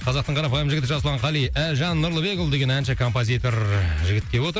қазақтың қарапайым жігіті жасұлан қали әлжан нұрлыбекұлы деген әнші композитор жігіт келіп отыр